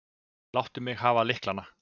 Láttu mig hafa lyklana.